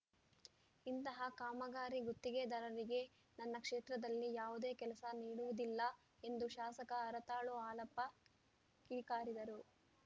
ಇಂತಹ ಕಾಮಗಾರಿ ಗುತ್ತಿಗೆದಾರರಿಗೆ ನನ್ನ ಕ್ಷೇತ್ರದಲ್ಲಿ ಯಾವುದೇ ಕೆಲಸ ನೀಡುವುದಿಲ್ಲ ಎಂದು ಶಾಸಕ ಹರತಾಳು ಹಾಲಪ್ಪ ಕಿಡಿಕಾರಿದರು